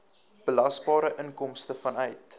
belasbare inkomste vanuit